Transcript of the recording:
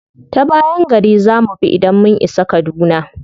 Ta bayan gari za mu bi idan mun isa kaduna.